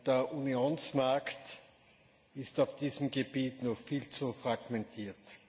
Der Unionsmarkt ist auf diesem Gebiet noch viel zu fragmentiert.